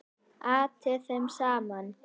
Atti þeim saman.